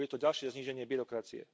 Bude to ďalšie zníženie byrokracie.